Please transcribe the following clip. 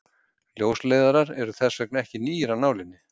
Ljósleiðarar eru þess vegna ekki nýir af nálinni.